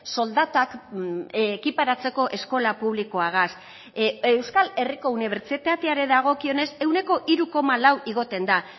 soldatak ekiparatzeko eskola publikoagaz euskal herriko unibertsitateari dagokionez ehuneko hiru koma lau igotzen da